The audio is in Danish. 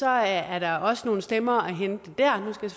er der også nogle stemmer at hente der nu skal